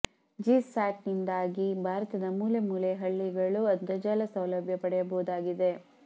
GSAT ನಿಂದಾಗಿ ಭಾರತದ ಮೂಲೆ ಮೂಲೆಯ ಹಳ್ಳಿಗಳೂ ಅಂತರ್ಜಾಲ ಸೌಲಭ್ಯ ಪಡೆಯಬಹುದಾಗಿದೆ